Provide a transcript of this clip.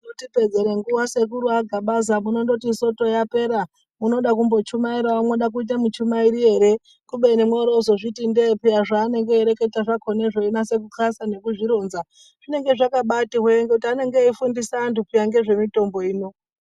Kutipedzere nguwa sekuru aGabaza munondoti soto yapera unoda kumbochumairawo mwoda kuita muchumairi ere kubeni mworozozviti ndee peya zvanenge ayireketa zvakona zveinase ku xasa nekuzvironza zvinenge zvakabati hwe ngoti anenge eyi fundisa antu peya ngezvemitombo ino.